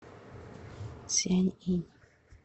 цзянъинь